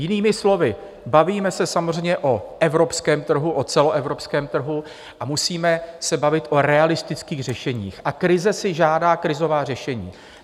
Jinými slovy, bavíme se samozřejmě o evropském trhu, o celoevropském trhu, a musíme se bavit o realistických řešeních a krize si žádá krizová řešení.